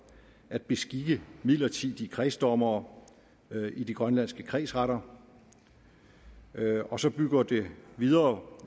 at beskikke midlertidige kredsdommere i de grønlandske kredsretter og så bygger det videre